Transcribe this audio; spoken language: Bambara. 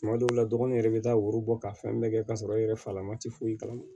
Tuma dɔw la dɔgɔnin yɛrɛ bɛ taa wo bɔ ka fɛn bɛɛ kɛ k'a sɔrɔ i yɛrɛ fa lama tɛ foyi kalama